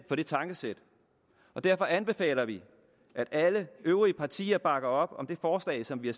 for det tankesæt og derfor anbefaler vi at alle øvrige partier bakker op om det forslag som vi